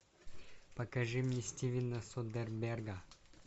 покажи мне стивена содерберга